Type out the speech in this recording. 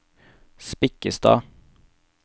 Spikkestad